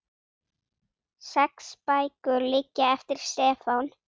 Sex bækur liggja eftir Stefán